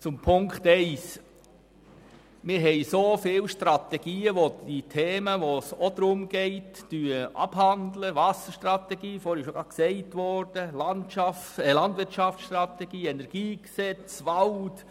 Zu Ziffer 1: Wir haben so viele Strategien, die die betroffenen Themen abhandeln: Wasserstrategie, Landwirtschaftsstrategie, Energiegesetz, Waldstrategie und so weiter und so fort.